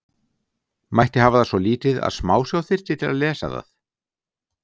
Mætti hafa það svo lítið að smásjá þyrfti til að lesa það?